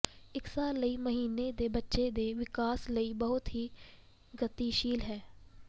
ਇੱਕ ਸਾਲ ਲਈ ਮਹੀਨੇ ਦੇ ਬੱਚੇ ਦੇ ਵਿਕਾਸ ਲਈ ਬਹੁਤ ਹੀ ਗਤੀਸ਼ੀਲ ਹੈ